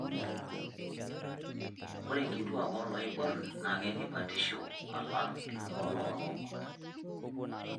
Ore nkituak ooloiborr naa ketii batisho alang' nooloorok.